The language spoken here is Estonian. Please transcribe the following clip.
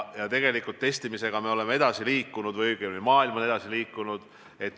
Tegelikult me testimisega oleme edasi liikunud või õigemini maailm on edasi liikunud.